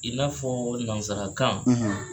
I n'a fɔ walima nansarakan